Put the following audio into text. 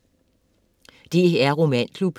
DR romanklub